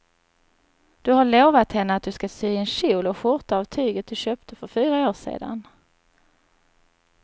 Du har lovat henne att du ska sy en kjol och skjorta av tyget du köpte för fyra år sedan.